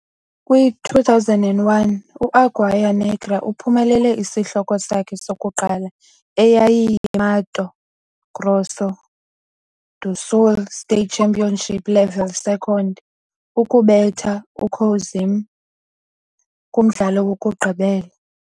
Kwi-2001, u-Águia Negra uphumelele isihloko sakhe sokuqala, eyayiyiMato Grosso do Sul State Championship Level Second, ukubetha uCoxim kumdlalo wokugqibela.